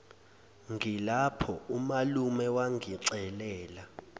ngilapho umalume wangicelela